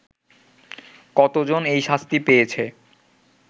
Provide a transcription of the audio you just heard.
কতজন এই শাস্তি পেয়েছে